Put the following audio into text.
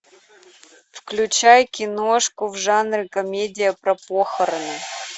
включай киношку в жанре комедия про похороны